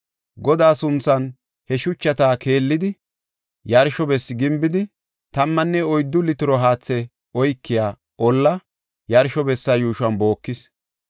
Godaa sunthan he shuchata keelidi, yarsho bessi gimbidi, tammanne oyddu litiro haathe oykiya olla yarsho bessa yuushon bookis.